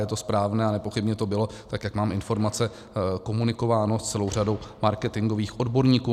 Je to správné a nepochybně to bylo, tak jak mám informace, komunikováno s celou řadou marketingových odborníků.